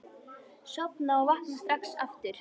Sofna og vakna strax aftur.